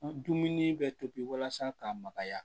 Dumuni bɛ tobi walasa ka makaya